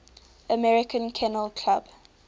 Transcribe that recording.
american kennel club